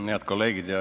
Head kolleegid!